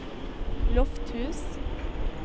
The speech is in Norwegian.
Lofthus